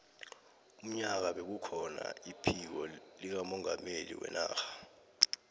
unyaka bekukhona iphiko likamongameli wenarha